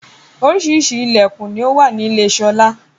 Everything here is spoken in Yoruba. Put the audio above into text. Oríṣiríṣi ilẹkun ni ó wà ní ile sọlá